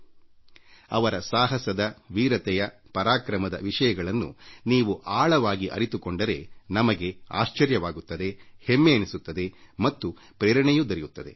ಯಾವಾಗ ನಾವು ಅವರ ಶೌರ್ಯದವೀರತ್ವದ ಪರಾಕ್ರಮದ ವಿಷಯಗಳನ್ನು ಆಳವಾಗಿ ಅರಿತುಕೊಳ್ಳುತ್ತೇವೋ ಆಗ ನಮಗೆ ಅಚ್ಚರಿ ಎನಿಸುತ್ತದೆ ಹೆಮ್ಮೆ ಮೂಡುತ್ತದೆ ಮತ್ತು ಪ್ರೇರಣೆಯೂ ದೊರಕುತ್ತದೆ